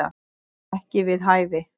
Ekki við hæfi